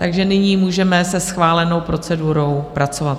Takže nyní můžeme se schválenou procedurou pracovat.